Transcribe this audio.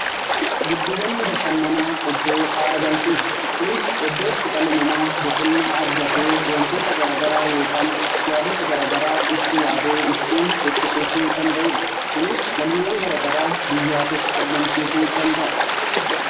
Giddugalli bashannanaa iddoo haara galfiiti. Kunis iddootti dhalli namaa boqonnaa argatee wantoota garagaraa yookaan yaadota garagaraa itti yaadee itti burqisuu danda'uudha. Kunis galiiwwan garagaraa biyyaafis argamsiisuu danda'a.